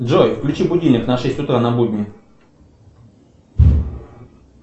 джой включи будильник на шесть утра на будни